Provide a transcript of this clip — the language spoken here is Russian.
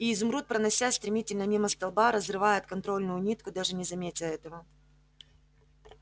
и изумруд проносясь стремительно мимо столба разрывает контрольную нитку даже не заметя этого